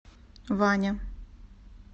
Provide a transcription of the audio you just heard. ваня